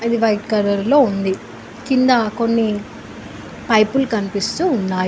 ఇది white colour లో ఉంది కింద కొన్ని పైపులు కనిపిస్తూ ఉన్నాయి.